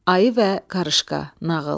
Ayı və qarışqa nağıl.